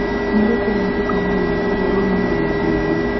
nĩ ũrikũ mũatuka mũnene mũno ũrĩa wĩ mũoyo thĩ ĩno